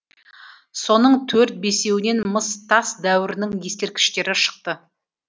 соның төрт бесеуінен мыс тас дәуірінің ескерткіштері шықты